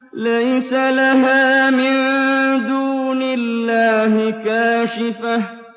لَيْسَ لَهَا مِن دُونِ اللَّهِ كَاشِفَةٌ